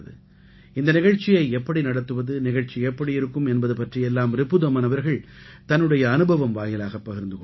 இந்த நிகழ்ச்சியை எப்படி நடத்துவது நிகழ்ச்சி எப்படி இருக்கும் என்பது பற்றி எல்லாம் ரிபுதமன் அவர்கள் தன்னுடைய அனுபவம் வாயிலாகப் பகிர்ந்து கொண்டார்